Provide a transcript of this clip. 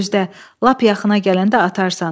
Gözlə, lap yaxına gələndə atarsan.